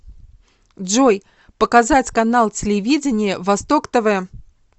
джой показать канал телевидения восток тв